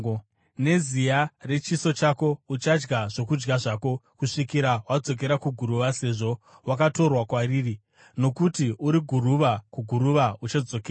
Neziya rechiso chako uchadya zvokudya zvako kusvikira wadzokera kuguruva, sezvo wakatorwa kwariri; nokuti uri guruva, kuguruva uchadzokera.”